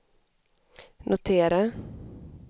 notera